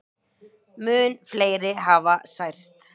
Mun fleiri hafi særst.